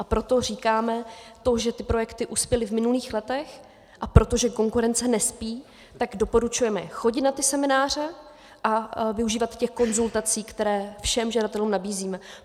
A proto říkáme to, že ty projekty uspěly v minulých letech, a protože konkurence nespí, tak doporučujeme chodit na ty semináře a využívat těch konzultací, které všem žadatelům nabízíme.